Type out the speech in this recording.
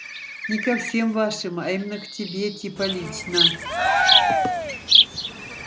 не ко всем вашим а именно к тебе типа лично